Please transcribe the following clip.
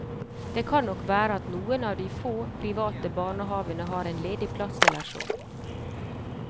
Det kan nok være at noen av de få private barnehavene har en ledig plass eller så.